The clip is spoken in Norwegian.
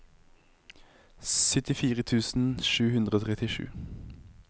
syttifire tusen sju hundre og trettisju